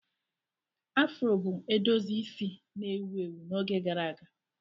Afro bụ edozi isi na-ewu ewu n'oge gara aga.